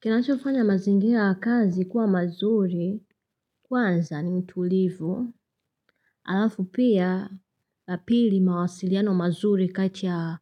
Kinachofanya mazingira ya kazi kuwa mazuri kwanza ni mtulivu, alafu pia la pili mawasiliano mazuri kati ya